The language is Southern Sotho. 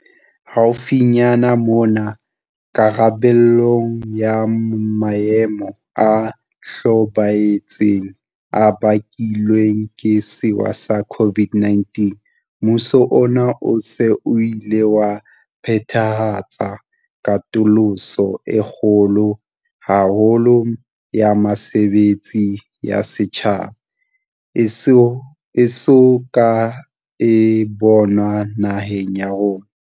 Haufinyane mona, karabelong ya maemo a hlobaetsang a bakilweng ke sewa sa COVID-19, mmuso ona o se o ile wa phethahatsa katoloso e kgolo haholo ya mesebetsi ya setjhaba e so ka e bonwa naheng ya rona.